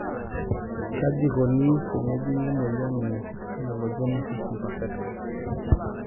Kajieikoni tenejungi emoyian e amelogenesis imperfecta?